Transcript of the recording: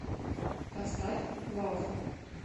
поставь лов